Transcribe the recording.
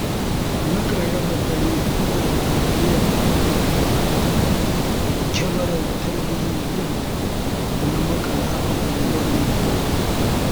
Nakan raba dare ina bibiyar kyamarar talabijin ɗin da na maƙala a unguwarmu.